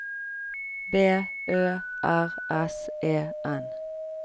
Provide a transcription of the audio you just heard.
B Ø R S E N